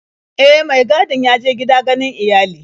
E, mai gadin ya je gida ganin iyali.